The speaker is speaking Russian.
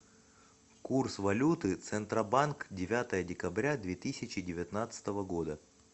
курс валюты центробанк девятое декабря две тысячи девятнадцатого года